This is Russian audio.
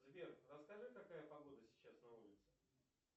сбер расскажи какая погода сейчас на улице